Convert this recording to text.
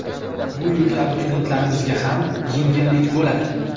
Bu yili abituriyentlarimizga ham yengillik bo‘ladi.